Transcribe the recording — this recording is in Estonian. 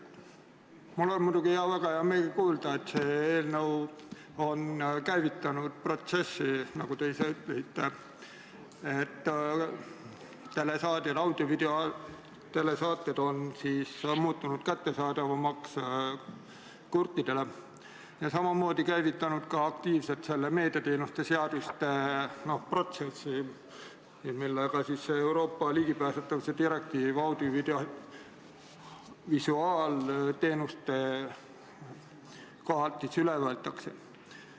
Mul on muidugi väga hea meel kuulda, et see eelnõu on käivitanud protsessi, nagu te ise ütlesite, mille tõttu telesaated on muutunud kättesaadavamaks kurtidele, ja samamoodi käivitanud ka aktiivselt meediateenuste seaduste protsessi, millega Euroopa ligipääsetavuse direktiiv audiovisuaalteenuste koha pealt üle võetakse.